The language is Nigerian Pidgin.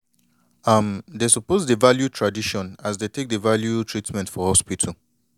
um dey suppose dey value tradition as dey take dey value treatment for hospital